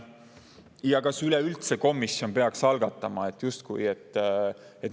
Samuti kas komisjon üleüldse peaks algatama.